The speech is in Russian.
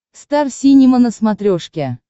стар синема на смотрешке